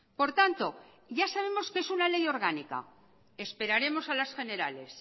por tanto ya sabemos que es una ley orgánica esperaremos a las generales